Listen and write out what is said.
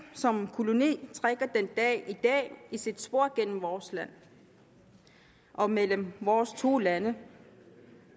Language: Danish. kolonitiden trækker den dag i dag sit spor gennem vores land og mellem vores to lande